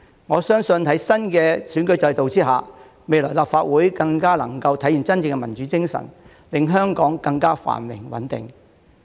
我相信，在新的選舉制度下，未來立法會更能體現真正的民主精神，令香港更加繁榮穩定。